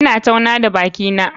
Ina tauna da bakina.